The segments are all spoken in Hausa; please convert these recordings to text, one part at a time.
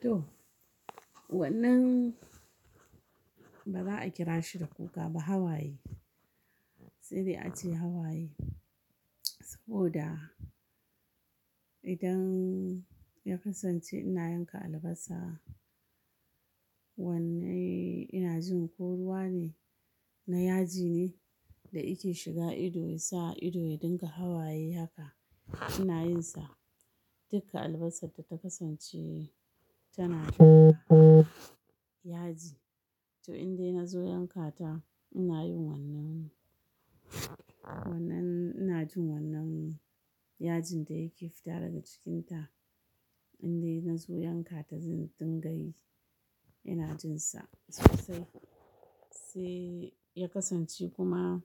To, wannan ba za a kira shi da kuka ba hawaye. Sede a ce hawaye, saboda idan ya kasance ina yanka albasa, wannan ina jin koruwa ne, na yaji ne da ike shiga ido ya sa ido ya dinga hawaye haka ina yinsa. Dukka albasad da ta kasance tanada yaji. To in dai na zo yanka ta ina yin wannan, wannan ina jin wannan yajin da yake fita daga cikinta. In dai na zo yanka ta zan dinga yi ina jin sa. Sosai, sai ya kasance kuma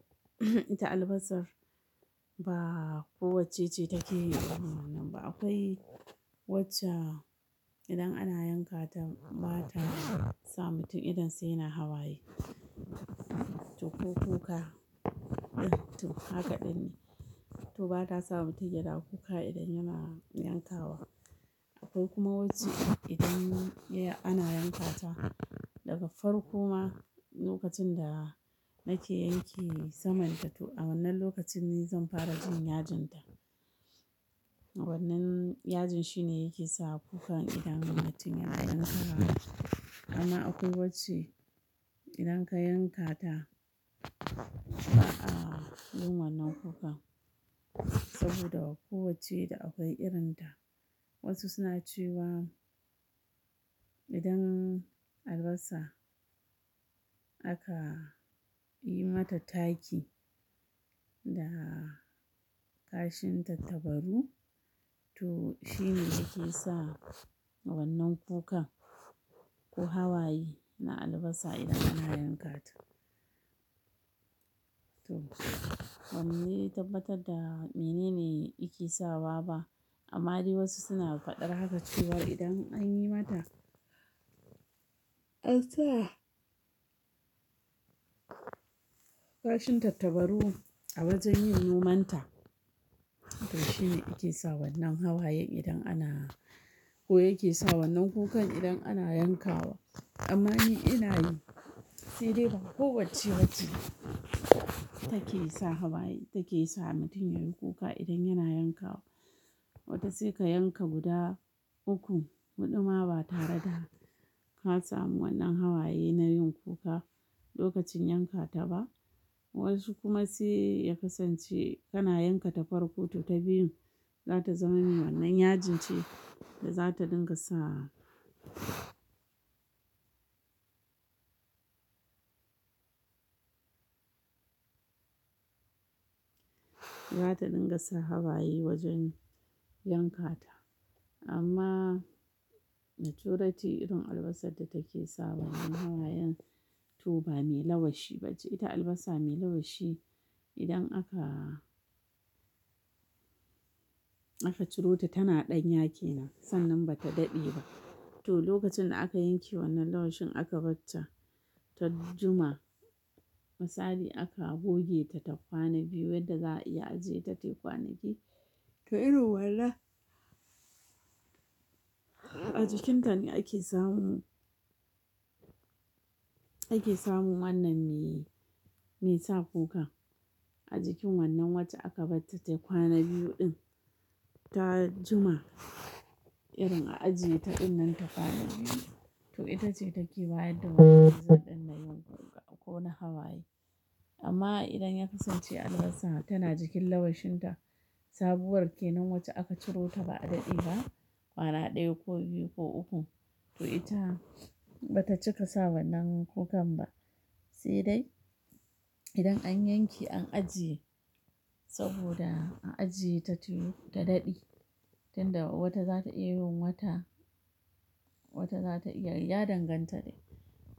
ita albasar ba ko wacce ce take yin wannan ba. Akwai wacce idan ana yanka ta ba ta sa mutum idan sa yana hawaye. To ko kuka. To haka din ne. To ba ta sa mutum ya na kuka idan yana yankawa. Akwai kuma wacce idan ya-- ana yanka ta daga farko ma lokacin da nake yanke saman ta to a wannan lokacin ne zan fara jin yajinta. Wannan yajin shine yake sa kukan idan mutum yana yankawa. Amma akwai wacce idan ka yanka ta ba a gun wannan kukan saboda ko wacce da akwai irin ta. Wasu suna cewa idan albasa aka yi mata taki da kashinta tatabaru to shine yake sa wannan kukan ko hawaye na albasa idan ana yanka ta. To, ban dai tabbatar da mene ne yake sawa ba amma dai wasu suna faɗar haka cewa idan an yi mata, ansa kashin tattabaru a wajen yin noman ta to shine yake sa wannan hawayen idan ana, ko yake sa wannan kukan idan ana yankawa. Amma ni ina yin, sede ba ko wacce bace take sa hawaye take sa mutum yayi kuka idan yana yankawa. Wata sai ka yanka guda uku, huɗu ma ba tare da ka samu wannan hawaye na yin kuka lokacin yanka ta ba. Wasu kuma sai ya kasance kana yanka ta farko toh ta biyun za ta zama wannan yajin ce da za ta dinga sa. Za ta dinga sa hawaye wajen yanka ta. Amma da turanci irin albasar da take sa wannan hawayen to ba me lawashi ba ce. Ita albasa mai lawashi idan aka, aka ciro ta tana ɗan yake nan sannan ba ta daɗe ba. To lokacin da aka yanke wannan lawashin aka bar ta, ta jima. Misali aka goge ta ta kwana biyu yadda za a iya ajiye ta tayi kwanaki. To irin wannan a jikin ta ne ake samun, ake samun wannan me, me sa kuka. A jikin wannan wacce aka bat ta tai kwana biyu din ta jima irin a ajiye ta din nan ta kwana biyu. To ita ce take ba yadda wannan zan ɗin na yin kuka ko na hawaye. Amma idan ya kasance albasa tana jikin lawashin ta sabuwar kenan wacce aka ciro ta ba a daɗe ba, kwana ɗaya ko biyu ko uku to ita ba ta cika sa wannan kukan ba. Sai dai idan an yanke an ajiye saboda a ajiye ta tunu ta daɗe, tunda wata za ta iya yin wata, wata za ta iya ya danganta ne.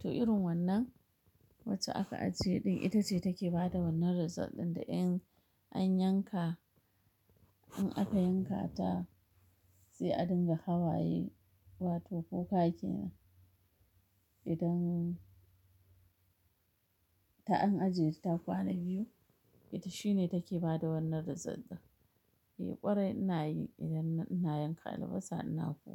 To irin wannan wacce aka ajiye din ita ce take ba da wannan result din da in an yanka, in aka yanka ta sai a dinga hawaye wato kuka kenan. Idan ta an ajiye ta kwana biyu, ita shine take ba da wannan razalt din. Eh ƙwarai ina yi idan ina yanka albasa ina kuka.